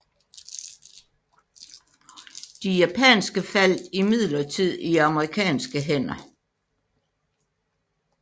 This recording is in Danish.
De japanske faldt imidlertid i amerikanske hænder